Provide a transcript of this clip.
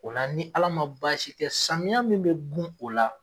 O la ni Ala man baasi kɛ samiya min bɛ gun o la